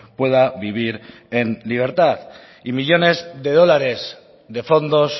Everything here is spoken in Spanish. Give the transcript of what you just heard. pueda vivir en libertad y millónes de dólares de fondos